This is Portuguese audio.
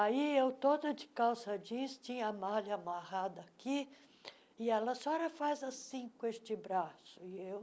Aí eu toda de calça jeans, tinha a malha amarrada aqui, e ela a senhora faz assim com este braço, e eu...